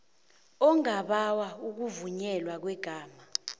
ongabawa ukuvunyelwa kwegama